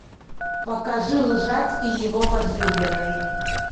покажи лжец и его возлюбленная